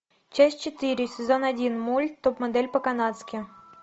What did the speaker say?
часть четыре сезон один мульт топ модель по канадски